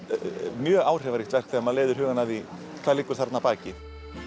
mjög áhrifaríkt verk þegar maður leiðir hugann að því hvað liggur þarna að baki